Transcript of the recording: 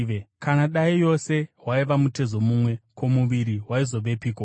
Kana dai yose waiva mutezo mumwe, ko, muviri waizovepiko?